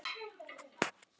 Var pabbi að skamma þig?